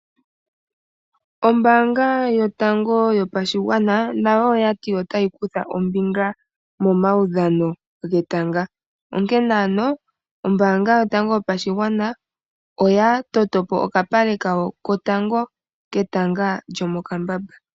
Ombaanga yotango yopashigwana nayo oya to otayi kutha ombinga momaudhano, onkene ombaanga yotango yopashigwana oya totopo okapale kawo kotango ketanga lyomokambamba.